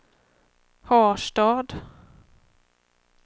Harstad